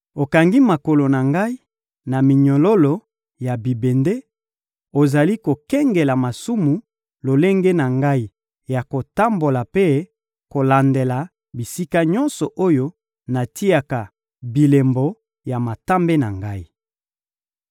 Okangi makolo na ngai na minyololo ya bibende, ozali kokengela malamu lolenge na ngai ya kotambola mpe kolandela bisika nyonso oyo natiaka bilembo ya matambe na ngai.